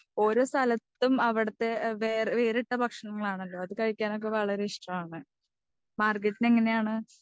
ഓരോ സ്ഥലത്തും അവിടുത്തെ വേറെ വേറിട്ട ഭക്ഷണങ്ങലാണല്ലോ? അത് കഴിക്കാനൊക്കെ വളരെ ഇഷ്ടമാണ്. മാർഗരറ്റിന് എങ്ങനെയാണ്?